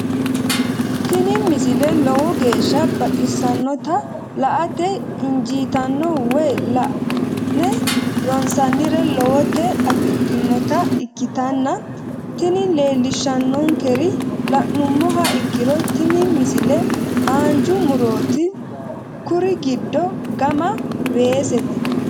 tini misile lowo geeshsha baxissannote la"ate injiitanno woy la'ne ronsannire lowote afidhinota ikkitanna tini leellishshannonkeri la'nummoha ikkiro tini misile haanja murooti kuri giddo gama weesete.